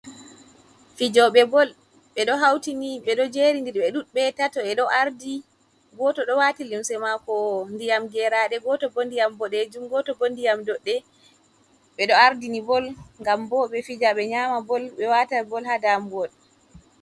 Fijoɓe bol ɓe ɗo hautini ɓe ɗo jeri dir be dudɓe tato be ɗo ardi, goto ɗo wati limse mako ndiyam geraɗe e goto bo ndiyam boɗejum goto bo ndiyam doɗɗe ɓe ɗo ardini bol ngam bo ɓe fija ɓe nyama bol ɓe wata bol ha damol.